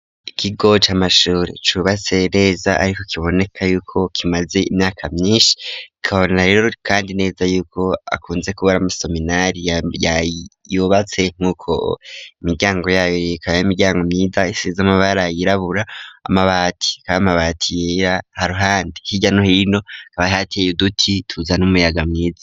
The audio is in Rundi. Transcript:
Ikigo c'amashure cubatse neza ariko kiboneka y'uko kimaze imyaka myinshi kabonera rero kandi neza yuko akunze kubara mo seminari ya yubatse nk'uko imiryango yabo rikaba y'imiryango myiza isize amabara yirabura amabati ka mabati yera ha ruhande hirya no hino hakaba hateye uduti twiza n'umuyaga mwiza.